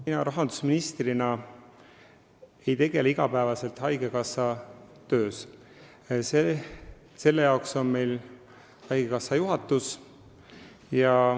Mina rahandusministrina ei osale igapäevaselt haigekassa töös, selle jaoks on haigekassa juhatus.